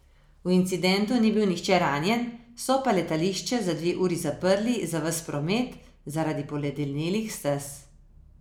V incidentu ni bil nihče ranjen, so pa letališče za dve uri zaprli za ves promet zaradi poledenelih stez.